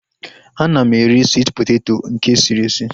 Ana m eri swit poteto nke esiri esi